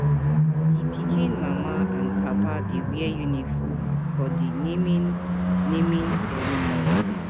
Di pikin mama and papa dey wear uniform for di naming naming ceremony.